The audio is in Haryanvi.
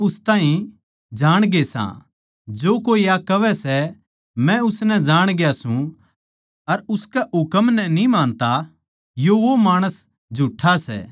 पर जो कोई परमेसवर कै वचन नै मान्नै सै उस म्ह सचमुच परमेसवर का प्यार सिध्द होया सै परमेसवर म्ह म्हारे बणे रहण का सबूत योए सै इस्से तै हम जाणा सां के हम उस म्ह सां